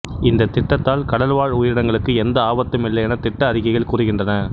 இந்த திட்டத்தால் கடல் வாழ் உயிரினங்களுக்கு எந்த ஆபத்துமில்லை என திட்ட அறிக்கைகள் கூறுகின்றன